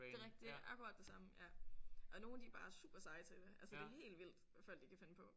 Det er det er akkurat det samme ja og nogle de er bare super seje til det altså det er helt vildt hvad folk de kan finde på